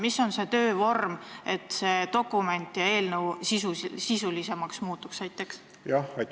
Mis on see töövorm, et see dokument ja eelnõu sisulisemaks muutuks?